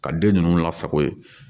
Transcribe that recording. Ka den ninnu lasako yen